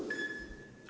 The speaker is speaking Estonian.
Palun lisaaega!